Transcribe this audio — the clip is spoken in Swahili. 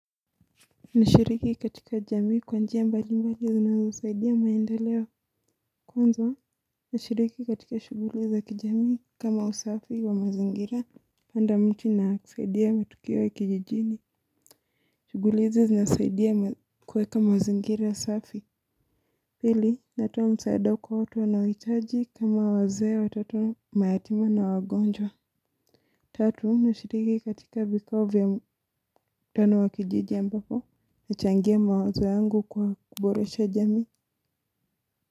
Nashiriki katika jamii kwa njia mbalimbali zinazosaidia maendeleo kwanza. Nashiriki katika shughuli za kijamii kama usafi wa mazingira. Panda miti na kusaidia matukio ya kijijini. Shughuli hizi zinasaidia kueka mazingira safi. Pili natoa msaada kwa watu wanaohitaji kama wazee watoto mayatima na wagonjwa tatu nashiriki katika vikao vya mtano wa kijiji ambapo nachangia mawazo yangu kwa kuboresha jamii.